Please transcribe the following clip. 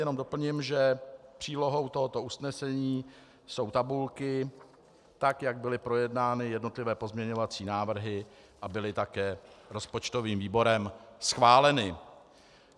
Jenom doplním, že přílohou tohoto usnesení jsou tabulky, tak jak byly projednány jednotlivé pozměňovací návrhy a byly také rozpočtovým výborem schváleny.